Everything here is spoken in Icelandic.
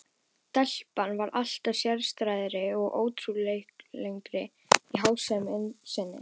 Telpan varð alltaf sérstæðari og óútreiknanlegri í háttsemi sinni.